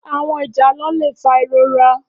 Áwòn ijálò lé fá irórà